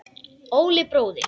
Óli bróðir.